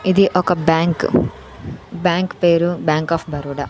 ఇది ఒక bank bank పేరు బ్యాంక్ ఆఫ్ బరోడా .